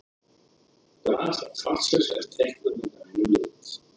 Graf fallsins er teiknað með grænum lit.